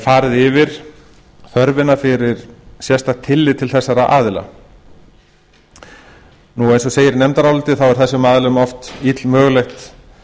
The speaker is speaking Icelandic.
farið yfir þörfina fyrir sérstakt tillit til þessara aðila eins og segir í nefndaráliti var þessum aðilum oft illmögulegt